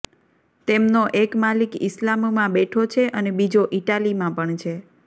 તેમનો એક માલિક ઇસ્લામમાં બેઠો છે અને બીજો ઇટાલીમાં પણ છે